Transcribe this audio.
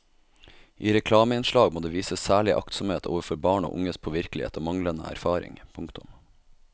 I reklameinnslag må det vises særlig aktsomhet overfor barn og unges påvirkelighet og manglende erfaring. punktum